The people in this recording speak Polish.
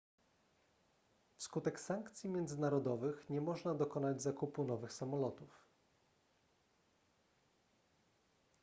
wskutek sankcji międzynarodowych nie można dokonać zakupu nowych samolotów